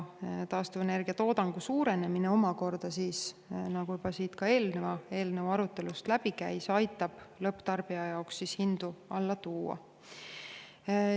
Taastuvenergia toodangu suurenemine omakorda, nagu siin juba eelneva eelnõu arutelust läbi käis, aitab lõpptarbija jaoks hinda alla tuua.